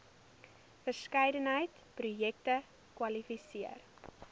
verskeidenheid projekte kwalifiseer